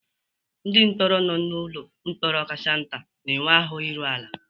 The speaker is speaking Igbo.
Ndị mkpọrọ nọ n'ụlọ mkpọrọ kacha nta na-enwe ahụ iru ala.